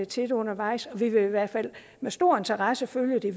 til det undervejs og vi vil i hvert fald med stor interesse følge det